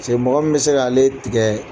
mɔgɔ min bɛ se k'ale tigɛ